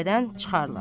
Gülbədən çıxarlar.